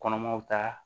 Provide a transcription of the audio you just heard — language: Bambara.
Kɔnɔmaw ta